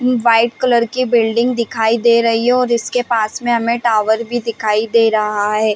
White colour की building दिखाई दे रही है और इसके पास में हमें टावर भी दिखाई दे रहा है।